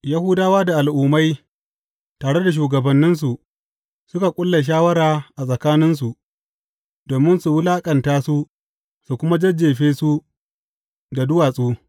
Yahudawa da Al’ummai tare da shugabanninsu suka ƙulla shawara a tsakaninsu, domin su wulaƙanta su su kuma jajjefe su da duwatsu.